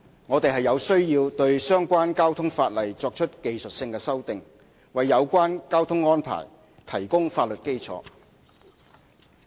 我們有需要對相關交通法例作出技術性修訂，為有關交通安排提供法律基礎。